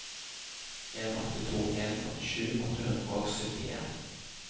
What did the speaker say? en åtte to en førtisju åtte hundre og syttien